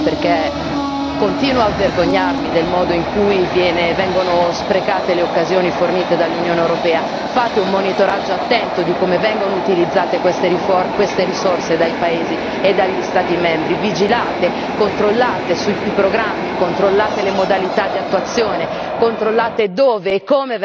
Io posso chiedere una cosa, perché continuo a vergognarmi del modo in cui vengono sprecate le occasioni fornite dall'Unione europea fate un monitoraggio attento di come vengono utilizzate queste risorse dai paesi e dagli Stati membri, vigilate, controllate i programmi, controllate le modalità d'attuazione,